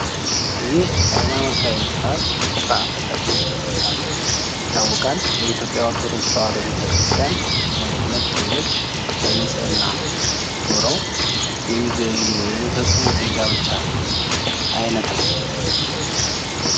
ይህ ሀይማኖታዊ ስርአት ስርአተ ተክሊል በመባል ይታወቃል። በኢትዮጵያ ኦረቶዶክስ ተዋህዶ ቤተክርስቲያን ሁለት ጥንዶች በንፅህና ኑረው የሚፈፅሙት የጋብቻ አይነት ነው።